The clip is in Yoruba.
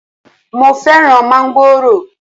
Mo fẹ́ràn mángòrò